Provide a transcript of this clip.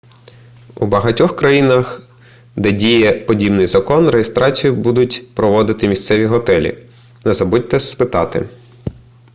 у багатьох країнах де діє подібний закон реєстрацію будуть проводити місцеві готелі не забудьте спитати